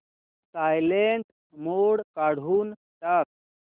silent mode काढून टाक